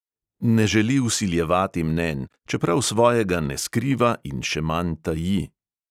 Ne želi vsiljevati mnenj, čeprav svojega ne skriva in še manj taji.